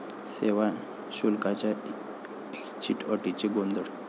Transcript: सेवा शुल्काच्या 'ऐच्छिक' अटीने गोंधळ